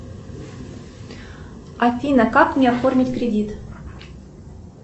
афина как мне оформить кредит